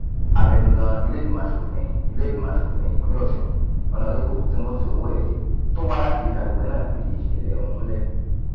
abẹnugan iléìgbìmọ asòfin iléìgbìmọ asòfin ìpínlẹ ọsùn honarebu timothy owóẹyẹ tó wá láti agbègbè náà fìdí ìsẹlẹ ọhún múlẹ